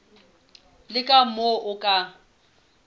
le ka moo o ka